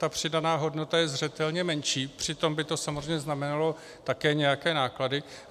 Ta přidaná hodnota je zřetelně menší, přitom by to samozřejmě znamenalo také nějaké náklady.